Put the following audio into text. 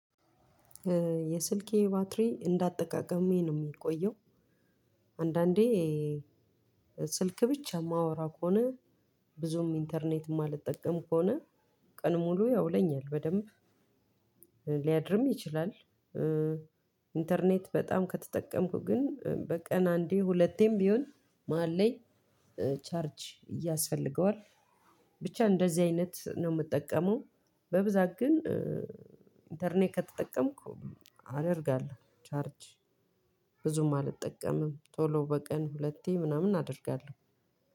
የስልኬ ባትሪ እንዳጠቃቀሜ ነው የሚቆየው። አንዳንዴ ስልክ ብቻ የማወራው ከሆነ ብዙም ኢንተርኔት የማልጠቀም ከሆነ ቀኑን ሙሉ ያውለኛል። በደንብ ሊያድርም ይችላል። ኢንተርኔት በጣም ከተጠቀምኩ ግን በቀን አንዴ ሁለቴም ቢሆን መሃል ላይ ቻርጅ እያስፈልገዋል። ብቻ እንደዚህ አይነት ነው የምጠቀመው። በብዛት ግን ኢንተርኔት ከተጠቀምኩ አደርጋለሁ። ቻርጅ ብዙም አልጠቀምም። ቶሎ በቀን ሁለቴ ምናምን አደርጋለሁ።